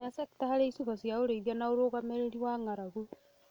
ya cekita harĩ icigo cia ũrĩithia na ũrũgamĩrĩri wa ng'aragu